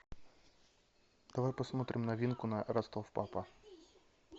давай посмотрим новинку на ростов папа